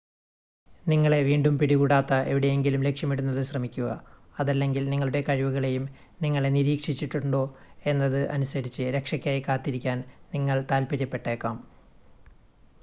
നിങ്ങളെ വീണ്ടും പിടികൂടാത്ത എവിടെയെങ്കിലും ലക്ഷ്യമിടുന്നത് ശ്രമിക്കുക അതല്ലെങ്കിൽ നിങ്ങളുടെ കഴിവുകളെയും നിങ്ങളെ നിരീക്ഷിച്ചിട്ടുണ്ടോ എന്നത് അനുസരിച്ച് രക്ഷയ്‌ക്കായി കാത്തിരിക്കാൻ നിങ്ങൾ താൽപ്പര്യപ്പെട്ടേക്കാം